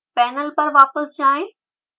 panel पर वापस आएं